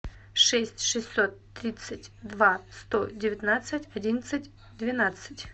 шесть шестьсот тридцать два сто девятнадцать одиннадцать двенадцать